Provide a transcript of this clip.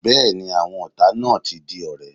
Bẹ́ẹ̀ni, àwọn ọ̀tá náà ti di ọ̀rẹ́.